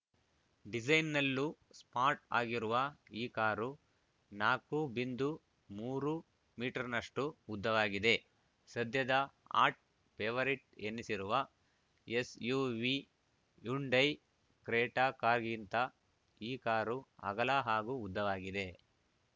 ಡಿಸೈನ್‌ನಲ್ಲೂ smart ಆಗಿರುವ ಈ car ನಾಕು ಬಿಂಧು ಮೂರು ಮೀಟರ್‌ನಷ್ಟುಉದ್ದವಾಗಿದೆ ಸದ್ಯದ ಹಾಟ್‌ ಫೇವರಿಟ್‌ ಎನ್ನಿಸಿರುವ ಎಸ್‌ಯುವಿ ಹ್ಯುಂಡೈ ಕ್ರೇಟಾ ಕಾರ್‌ಗಿಂತ ಈ ಕಾರು ಅಗಲ ಹಾಗೂ ಉದ್ದವಾಗಿದೆ